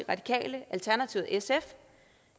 radikale alternativet og sf